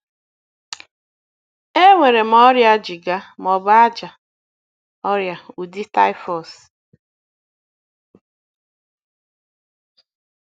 Enwere m ọrịa jigger, ma ọ bụ ájá, ọrịa, ụdị typhus.